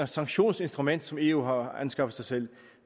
sanktionsinstrument som eu har anskaffet sig